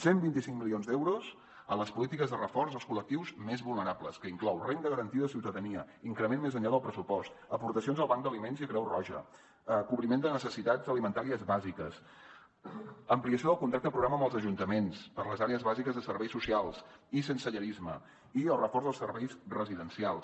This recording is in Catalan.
cent vint i cinc milions d’euros a les polítiques de reforç als col·lectius més vulnerables que inclou renda garantida de ciutadania increment més enllà del pressupost aportacions al banc d’aliments i a creu roja cobriment de necessitats alimentàries bàsiques ampliació del contracte programa amb els ajuntaments per a les àrees bàsiques de serveis socials i sensellarisme i el reforç dels serveis residencials